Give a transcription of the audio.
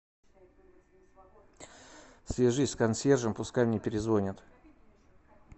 свяжись с консьержем пускай мне перезвонит